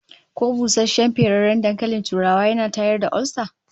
Ko busasshen ferarren dankalin turawa yana tayar da olsa?